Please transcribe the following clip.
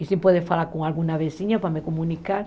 E se pode falar com alguma vizinha para me comunicar.